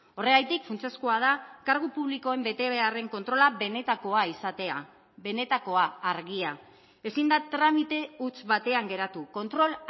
horregatik funtsezkoa da kargu publikoen betebeharren kontrola benetakoa izatea benetakoa argia ezin da tramite huts batean geratu kontrol